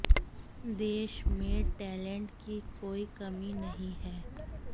देश में टेलेंट की कोई कमी नहीं है